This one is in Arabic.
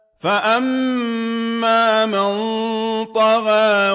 فَأَمَّا مَن طَغَىٰ